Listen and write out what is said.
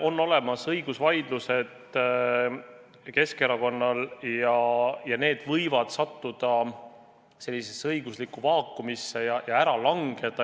Aga Keskerakonnal on õigusvaidlused ja need võivad sattuda sellisesse õiguslikku vaakumisse ja ära langeda.